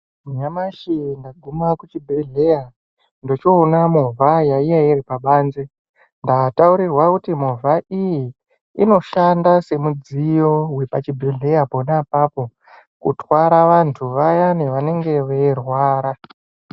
Nyamashi ndaguma kuchibhedhlera ndochoona movha yaiya iri pabanze, ndataurirwa kuti movha iyi inoshanda semudziyo wepachibhedhlera pona apapo kutwara vantu vayani vanenge veirwara.